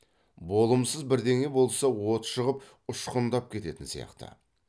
болымсыз бірдеңе болса от шығып ұшқындап кететін сияқты